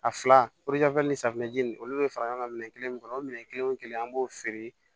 A fila ni safinɛji nunnu olu be fara ɲɔgɔn ŋa minɛn kelen kɔnɔ o minɛn kelen o kelen an b'o feere